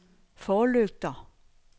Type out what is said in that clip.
forlygter